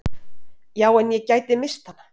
"""Já, en ég gæti misst hana"""